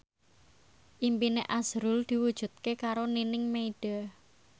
impine azrul diwujudke karo Nining Meida